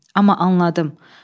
amma anladım.